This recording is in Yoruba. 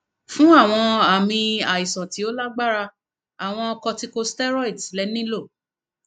fun awọn aami aisan ti o lagbara awọn corticosteroids le nilo